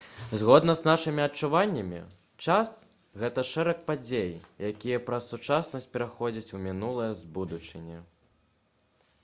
згодна з нашымі адчуваннямі час гэта шэраг падзей якія праз сучаснасць пераходзяць у мінулае з будучыні